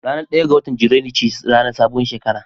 Ranar ɗaya ga watan junairu ce ranar sabuwar shekara